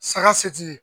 Saga setigi